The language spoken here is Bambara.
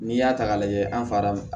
N'i y'a ta k'a lajɛ an fara